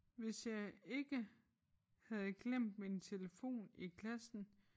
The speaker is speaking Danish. Hvis jeg ikke havde glemt min telefon i klassen